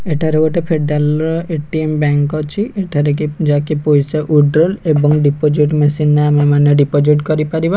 ଏଠାରେ ଗୋଟେ ଫେଡରାଲ ର ଏ_ଟି_ମ ବ୍ୟାଙ୍କ୍ ଅଛି ଏଠାରେ ଯାକେ ପଇସା ୱିଡ୍ରଲ୍ ଆଣ୍ଡ ଡିପୋଜିଟ ମେସିନ୍ ରେ ଆମେମାନେ ଡିପୋଜିଟ କରିପାରିବା।